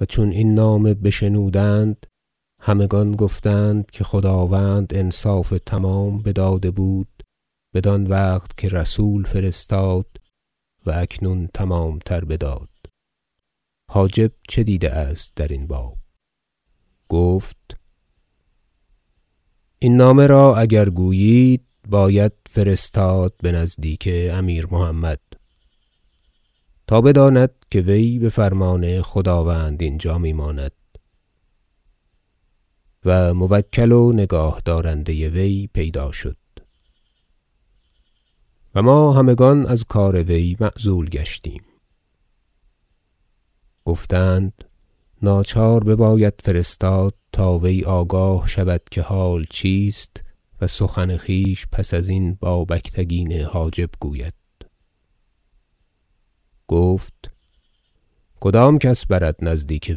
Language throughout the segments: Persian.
و چون این نامه بشنودند همگان گفتند که خداوند انصاف تمام بداده بود بدان وقت که رسول فرستاد و اکنون تمامتر بداد حاجب چه دیده است در این باب گفت این نامه را -اگر گویید- باید فرستاد به نزدیک امیر محمد تا بداند که وی به فرمان خداوند اینجا می ماند و موکل و نگاهدارنده وی پیدا شد و ما همگان از کار وی معزول گشتیم گفتند ناچار بباید فرستاد تا وی آگاه شود که حال چیست و سخن خویش پس ازین با بگتگین حاجب گوید گفت کدام کس برد نزدیک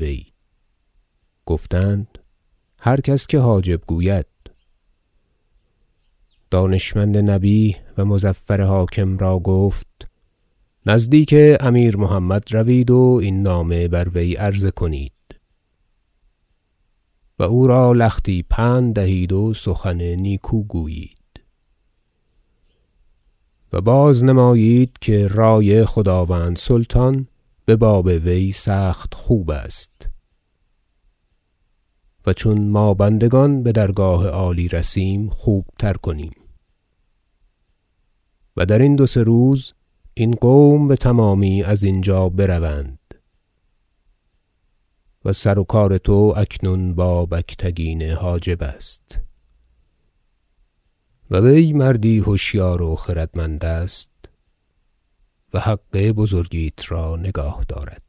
وی گفتند هر کس که حاجب گوید دانشمند نبیه و مظفر حاکم را گفت نزدیک امیر محمد روید و این نامه بر وی عرضه کنید و او را لختی پند دهید و سخن نیکو گویید و بازنمایید که رأی خداوند سلطان به باب وی سخت خوب است و چون ما بندگان به درگاه عالی رسیم خوبتر کنیم و در این دو سه روز این قوم بتمامی از اینجا بروند و سروکار تو اکنون با بگتگین حاجب است و وی مردی هوشیار و خردمند است و حق بزرگیت را نگاه دارد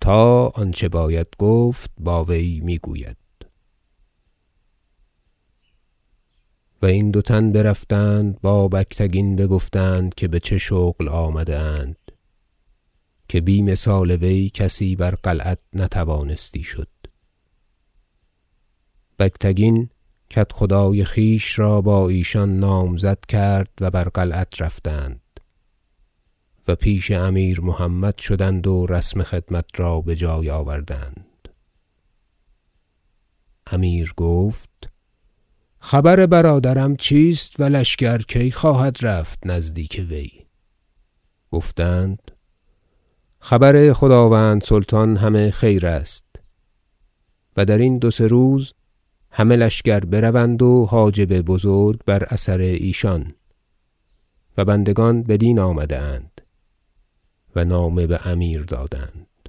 تا آنچه باید گفت با وی می گوید و این دو تن برفتند با بگتگین بگفتند که به چه شغل آمده اند که بی مثال وی کسی بر قلعت نتوانستی شد بگتگین کدخدای خویش را با ایشان نامزد کرد و بر قلعت رفتند و پیش امیر محمد شدند و رسم خدمت را به جای آوردند امیر گفت خبر برادرم چیست و لشکر کی خواهد رفت نزدیک وی گفتند خبر خداوند سلطان همه خیر است و در این دو سه روزه همه لشکر بروند و حاجب بزرگ بر اثر ایشان و بندگان بدین آمده اند و نامه به امیر دادند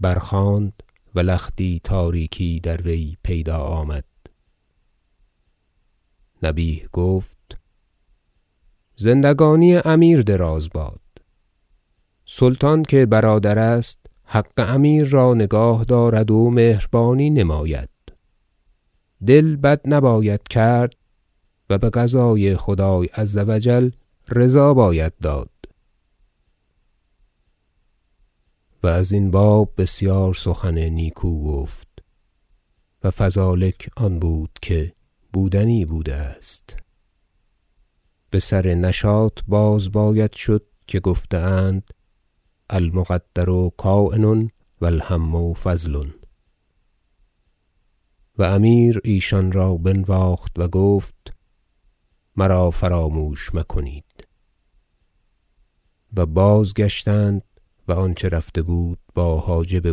برخواند و لختی تاریکی در وی پیدا آمد نبیه گفت زندگانی امیر دراز باد سلطان که برادر است حق امیر را نگاه دارد و مهربانی نماید دل بد نباید کرد و به قضای خدای عز و جل رضا باید داد و از این باب بسیار سخن نیکو گفت و فذلک آن بود که بودنی بوده است به سر نشاط باز باید شد که گفته اند المقدر کاین و الهم فضل و امیر ایشان را بنواخت و گفت مرا فراموش مکنید و بازگشتند و آنچه رفته بود با حاجب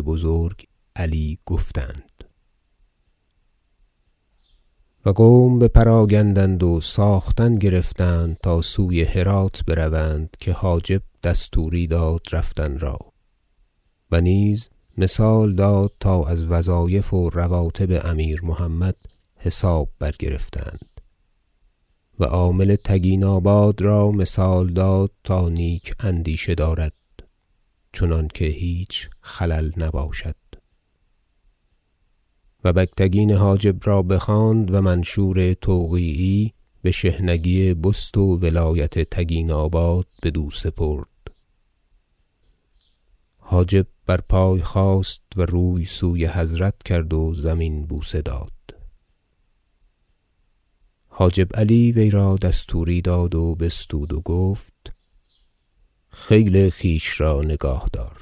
بزرگ علی گفتند و قوم بجمله بپراگندند و ساختن گرفتند تا سوی هرات بروند که حاجب دستوری داد رفتن را و نیز مثال داد تا از وظایف و رواتب امیر محمد حساب برگرفتند و عامل تگیناباد را مثال داد تا نیک اندیشه دارد چنانکه هیچ خلل نباشد و بگتگین حاجب را بخواند و منشور توقیعی به شحنگی بست و ولایت تگیناباد بدو سپرد حاجب بر پای خاست و روی سوی حضرت کرد و زمین بوسه داد حاجب علی وی را دستوری داد و بستود و گفت خیل خویش را نگاه دار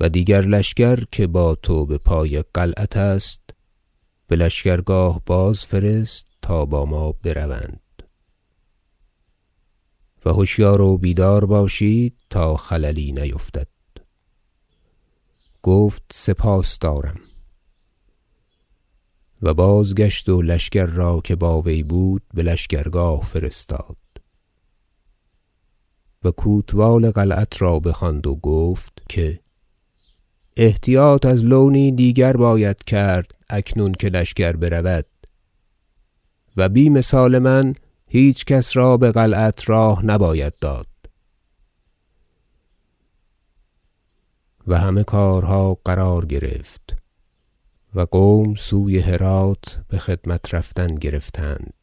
و دیگر لشکر که با تو به پای قلعت است به لشکرگاه بازفرست تا با ما بروند و هوشیار و بیدار باشید تا خللی نیفتد گفت سپاس دارم و بازگشت و لشکر را که با وی بود به لشکرگاه فرستاد و کوتوال قلعت را بخواند و گفت که احتیاط از لونی دیگر باید کرد اکنون که لشکر برود و بی مثال من هیچکس را به قلعت راه نباید داد و همه کارها قرار گرفت و قوم سوی هرات بخدمت رفتن گرفتند